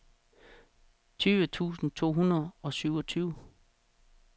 tyve tusind to hundrede og syvogtyve